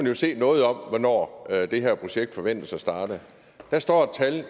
jo se noget om hvornår det her projekt forventes at starte der står et årstal